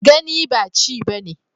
Gani ba chi ba ne.